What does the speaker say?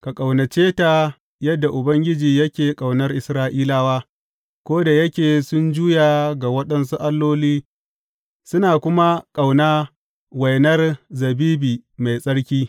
Ka ƙaunace ta yadda Ubangiji yake ƙaunar Isra’ilawa, ko da yake sun juya ga waɗansu alloli suna kuma ƙauna wainar zabibi mai tsarki.